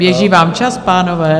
Běží vám čas, pánové.